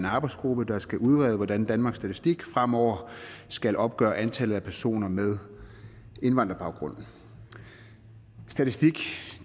en arbejdsgruppe der skal udrede hvordan danmarks statistik fremover skal opgøre antallet af personer med indvandrerbaggrund statistik